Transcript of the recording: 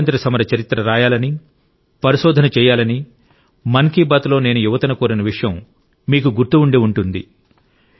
స్వాతంత్య్ర సమర చరిత్ర రాయాలని పరిశోధన చేయాలని మన్ కి బాత్ లో నేను యువతను కోరిన విషయం మీకు గుర్తు ఉండి ఉంటుంది